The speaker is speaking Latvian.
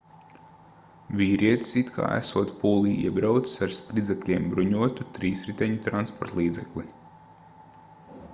vīrietis it kā esot pūlī iebraucis ar spridzekļiem bruņotu trīsriteņu transportlīdzekli